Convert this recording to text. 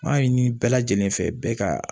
M'a ɲini bɛɛ lajɛlen fɛ bɛɛ ka